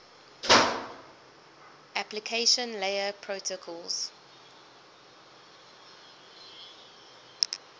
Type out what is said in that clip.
application layer protocols